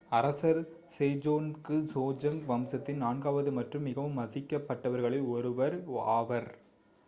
அரசர் Sejong Joseon வம்சத்தின் நான்காவது மற்றும் மிகவும் மதிக்கப் பட்டவர்களில் ஒருவரும் one ஆவார்